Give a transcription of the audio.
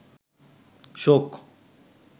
শোক